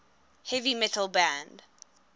heavy metal band